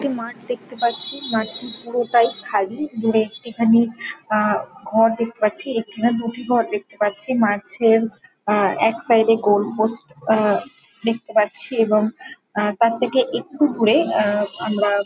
একটি মাঠ দেখতে পাচ্ছি মাঠটি পুরোটাই খালি। দূরে একটি খানি আ ঘর দেখতে পাচ্ছি একটি না দুটি ঘর দেখতে পাচ্ছি। মাঠের আ এক সাইডে গোলপোস্ট আ দেখতে পাচ্ছি এবং আ তার থেকে একটু দূরে আ আমরা --